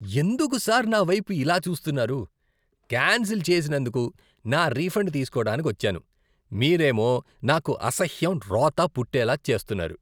ఎందుకు సార్ నా వైపు ఇలా చూస్తున్నారు? కాన్సిల్ చేసినందుకు నా రిఫండ్ తీసుకోడానికొచ్చాను, మీరేమో నాకు అసహ్యం, రోత పుట్టేలా చేస్తున్నారు.